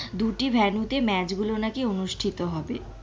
দুটি venue তে নাকি match গুলো অনুষ্ঠিত হবে.